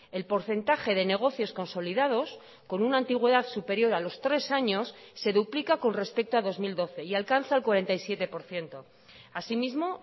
el porcentaje de negocios consolidados con una antigüedad superior a los tres años se duplica con respecto a dos mil doce y alcanza el cuarenta y siete por ciento así mismo